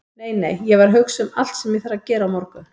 Nei, nei, ég var að hugsa um allt sem ég þarf að gera á morgun.